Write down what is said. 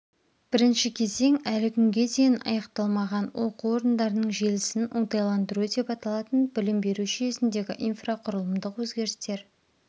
бірінші кезең әлі күнге дейін аяқталмаған оқу орындарының желісін оңтайландыру деп аталатын білім беру жүйесіндегі инфрақұрылымдық өзгерістер